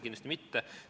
Kindlasti mitte.